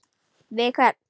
Við hvern?